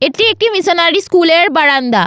এটি একটি missionary school এর বারান্দা।